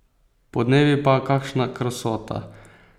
Podnevi pa, kakšna krasota!